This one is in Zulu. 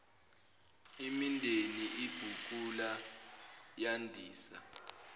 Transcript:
imindeni ibhukula yandisa